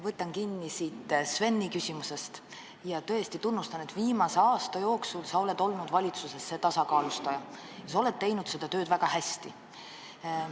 Võtan kinni Sveni küsimusest ja tõesti tunnustan, et viimase aasta jooksul sa oled olnud valitsuses see tasakaalustaja ja sa oled teinud seda tööd väga hästi.